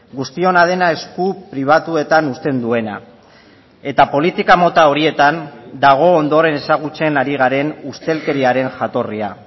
guztiona dena esku pribatuetan uzten duena eta politika mota horietan dago ondoren ezagutzen ari garen ustelkeriaren jatorria